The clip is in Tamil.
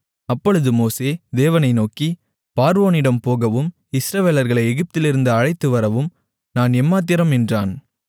அப்பொழுது மோசே தேவனை நோக்கி பார்வோனிடம் போகவும் இஸ்ரவேலர்களை எகிப்திலிருந்து அழைத்துவரவும் நான் எம்மாத்திரம் என்றான்